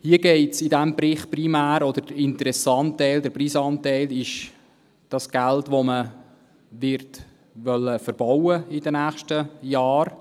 Der interessante oder brisante Teil dieses Berichts ist das Geld, das man in den nächsten Jahren verbauen wollen wird: